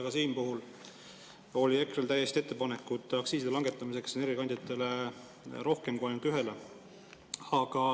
Ka siin olid EKRE-l täiesti ettepanekud aktsiiside langetamiseks energiakandjatele ja rohkem kui ainult ühele.